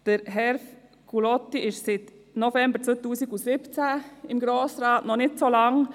Hervé Gullotti ist seit dem November 2017 im Grossen Rat, also noch nicht so lange.